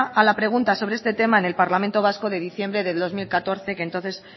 a la pregunta sobre este tema en el parlamento vasco de diciembre de dos mil catorce que entonces